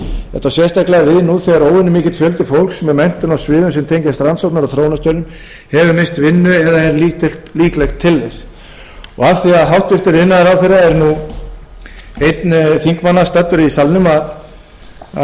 þetta á sérstaklega við nú þegar óvenju mikill fjöldi fólks með menntun á sviðum sem tengjast rannsókna og þróunarstörfum hefur misst vinnu eða er líklegt til þess af því að hæstvirtur iðnaðarráðherra er nú einn þingmanna staddur í salnum veit ég